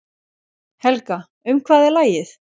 Helga, um hvað er lagið?